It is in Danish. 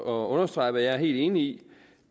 og understrege hvad jeg er helt enig i